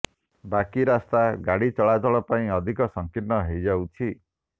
ବାକି ରାସ୍ତା ଗାଡ଼ି ଚଳାଚଳ ପାଇଁ ଅଧିକ ସଂକୀର୍ଣ୍ଣ ହୋଇଯାଉଛି